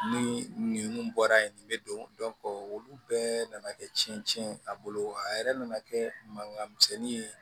Ni nin bɔra yen nin bɛ don olu bɛɛ nana kɛ cɛncɛn ye a bolo a yɛrɛ nana kɛ mankan misɛnnin ye